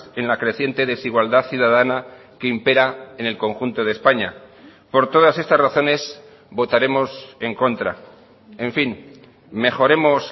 en la creciente desigualdad ciudadana que impera en el conjunto de españa por todas estas razones votaremos en contra en fin mejoremos